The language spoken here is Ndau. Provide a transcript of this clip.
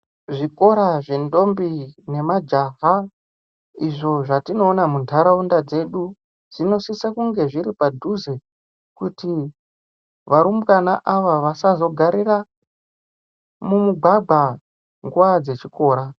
Zvikora zve ndombi ne majaha izvo zvatino ona mu ndaraunda dzedu dzino sisa kunge zviri padhuze kuti varumbwana ava vasazo garira mu mugwagwa nguva dze chikora.